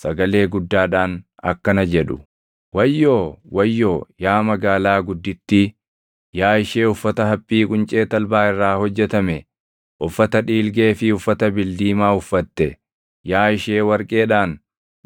sagalee guddaadhaan akkana jedhu: “ ‘Wayyoo! Wayyoo, yaa magaalaa guddittii; yaa ishee uffata haphii quncee talbaa irraa hojjetame, uffata dhiilgee fi uffata bildiimaa uffatte, yaa ishee warqeedhaan,